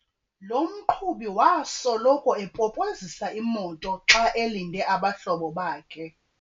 Lo mqhubi wasoloko epopozisa imoto xa elinde abahlobo bakhe.